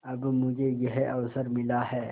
अब मुझे यह अवसर मिला है